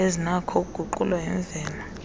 ezinakho ukuguqulwa yimvelo